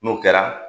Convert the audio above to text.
N'o kɛra